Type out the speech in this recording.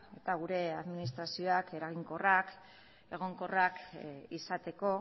eta gure administrazioak eraginkorrak egonkorrak izateko